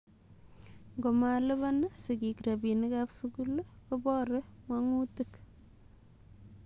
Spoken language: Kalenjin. Ngomalipa sigiik rapinik ap sugul kopore mongutik